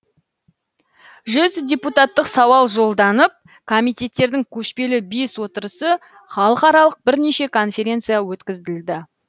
жүз депутаттық сауал жолданып комитеттердің көшпелі бес отырысы халықаралық бірнеше конференция өткізілді